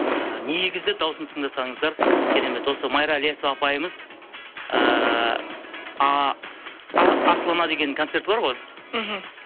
і негізі дауысын тыңдасаңыздар керемет осы майра ілиясова апайымыз ыыы асыл ана деген концерті бар ғой мхм